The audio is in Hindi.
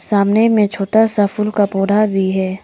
सामने में छोटा सा फूल का पौधा भी है।